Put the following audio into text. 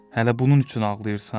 Hələ bunun üçün ağlayırsan?